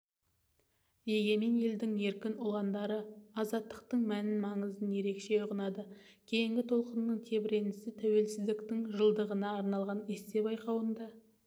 егемен елдің еркін ұландары азаттықтың мән-маңызын ерекше ұғынады кейінгі толқынның тебіренісі тәуелсіздіктің жылдығына арналған эссе байқауында